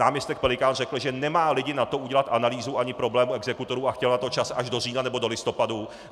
Náměstek Pelikán řekl, že nemá lidi na to udělat analýzu ani problém exekutorů a chtěl na to čas až do října nebo do listopadu.